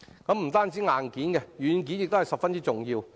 不僅是硬件，軟件亦十分重要。